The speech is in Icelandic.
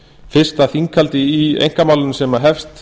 fyrsta þinghald í einkamálinu sem hefst